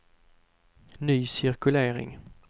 ny cirkulering